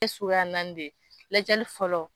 Suguya naani de ye, Iadiyali fɔlɔ.